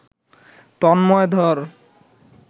তন্ময় ধর